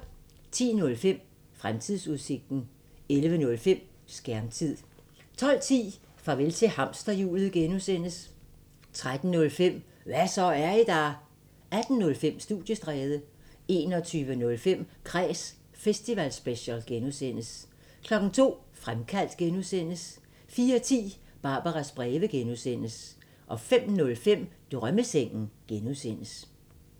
10:05: Fremtidsudsigten 11:05: Skærmtid 12:10: Farvel til hamsterhjulet (G) 13:05: Hva' så, er I der? 18:05: Studiestræde 21:05: Kræs festivalspecial (G) 02:00: Fremkaldt (G) 04:10: Barbaras breve (G) 05:05: Drømmesengen (G)